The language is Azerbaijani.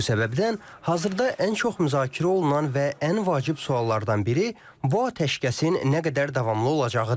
Bu səbəbdən hazırda ən çox müzakirə olunan və ən vacib suallardan biri bu atəşkəsin nə qədər davamlı olacağıdır.